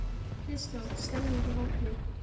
Kristján: Stemmning í hópnum?